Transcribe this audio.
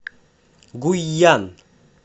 гуйян